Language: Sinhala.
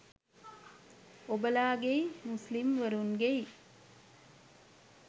ඔබලාගෙයි මුස්ලිම් වරුන්ගෙයි